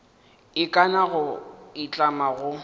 ikana goba go itlama go